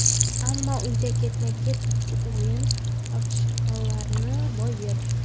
Ammo uydagi ketma-ket ikki o‘yinda ochkolarni boy berdik.